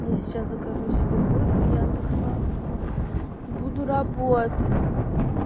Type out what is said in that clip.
я сейчас закажу себе кофе в яндекс лавке и буду работать